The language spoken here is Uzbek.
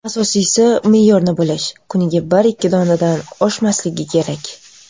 Asosiysi, me’yorni bilish: kuniga bir-ikki donadan oshmasligi kerak.